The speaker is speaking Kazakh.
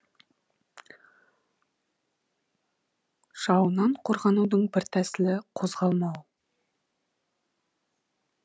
жауынан қорғанудың бір тәсілі қозғалмау